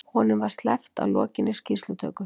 Honum var sleppt að lokinni skýrslutöku